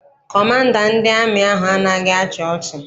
Kọmanda ndị amị ahụ anaghị achị ọcha.